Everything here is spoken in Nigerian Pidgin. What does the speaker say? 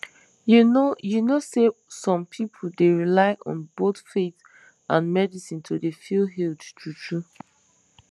you know you know say some pipu dey rely on both faith and medicine to dey feel healed true true